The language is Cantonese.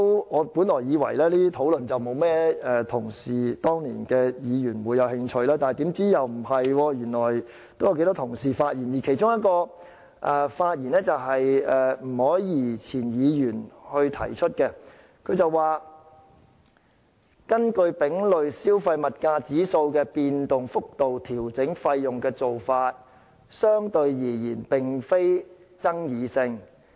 我本來以為當年沒有甚麼議員會對此感興趣，豈料不是，原來有頗多議員曾發表意見，其中一位是前立法會議員吳靄儀，她說"根據丙類消費物價指數的變動幅度調整費用的做法，相對而言並非爭議性。